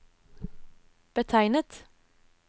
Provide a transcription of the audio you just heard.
betegnet